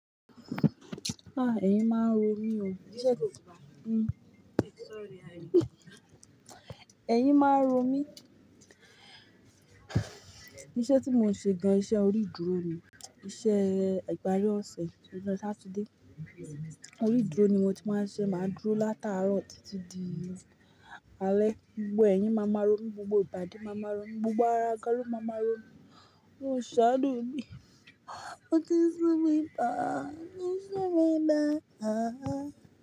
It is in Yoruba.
Ah, ẹ̀yin máa ń ro mí o. Ẹ̀yin máa ń ro mí. Iṣẹ́ tí mò ń ṣe gan, iṣẹ́ orí idúró ni, iṣẹ́ ìpari ọ̀sẹ̀, ọjọ́ Saturday. Orí dúró ni mo ti máa ń ṣe, máa dúró látàárọ̀ títí di alẹ́. Gbogbo ẹ̀yin máa máa ro mí, gbogbo ìgbàdi máa máa ro mí, gbogbo ara gan lo máa máa ro mí. E saanu mí. Ó ti sú mi pá, ó ti sú mi dá háà.